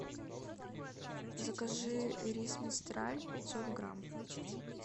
закажи рис мистраль пятьсот грамм